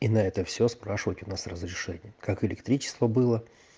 и это все спрашивать у нас разрешение как электричество было